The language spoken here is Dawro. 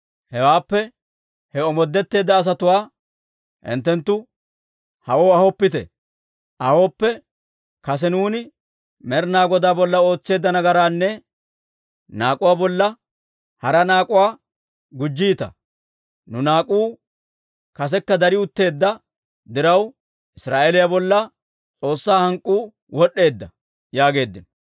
Hewaappe, «He omoodetteedda asatuwaa hinttenttu hawaa ahooppe, kase nuuni Med'inaa Godaa bolla ootseedda nagaraanne naak'uwaa bolla hara naak'uwaa gujjiita. Nu naak'uu kasekka dari utteedda diraw, Israa'eeliyaa bolla S'oossaa hank'k'uu wod'd'eedda» yaageeddino.